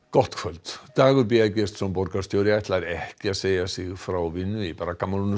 gott kvöld Dagur b Eggertsson borgarstjóri ætlar ekki að segja sig frá vinnu í